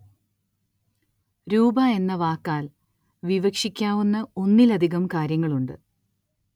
രൂപ എന്ന വാക്കാല്‍ വിവക്ഷിക്കാവുന്ന ഒന്നിലധികം കാര്യങ്ങളുണ്ട്